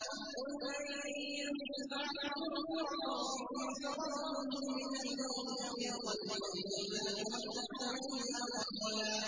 قُل لَّن يَنفَعَكُمُ الْفِرَارُ إِن فَرَرْتُم مِّنَ الْمَوْتِ أَوِ الْقَتْلِ وَإِذًا لَّا تُمَتَّعُونَ إِلَّا قَلِيلًا